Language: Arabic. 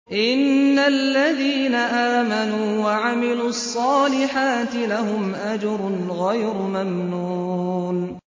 إِنَّ الَّذِينَ آمَنُوا وَعَمِلُوا الصَّالِحَاتِ لَهُمْ أَجْرٌ غَيْرُ مَمْنُونٍ